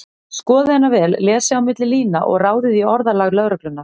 Skoðið hana vel, lesið á milli lína og ráðið í orðalag lögreglunnar.